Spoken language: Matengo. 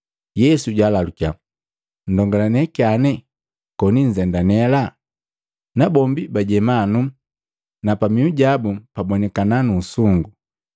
Yesu jaalalukiya, “Mndongalane kyane koni nzendanela?” Nabombi bajeema nuu, na pamihu jabu pabonikana nu usungu.